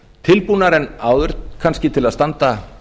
tilbúnari en áður kannski til að standa